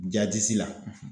Ja disi la